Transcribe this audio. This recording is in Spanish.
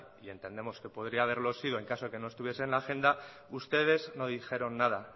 y entendemos que podría haberlo sido en caso de que no estuviese en la agenda ustedes no dijeron nada